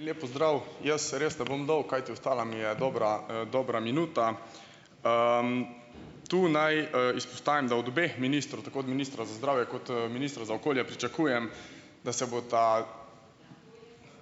Lep pozdrav, jaz res ne bom dolg, kajti ostala mi je dobra, dobra minuta. Tu naj, izpostavim, da od obeh ministrov, tako od ministra za zdravje kot, ministra za okolje pričakujem, da se bosta,